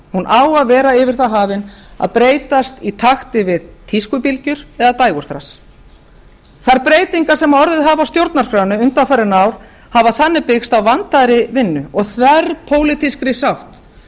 hún á að vera yfir það hafin að breytast í takti við tískubylgjur eða dægurþras þær breytingar sem orðið hafa á stjórnarskránni undanfarin ár hafa þannig byggst á vandaðri vinnu og þverpólitískri